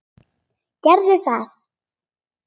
Gerðu það: